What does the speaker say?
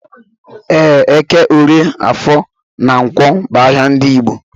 Ee, eke, orie, afọ na ǹkwọ bu ahịa ndị Igbo.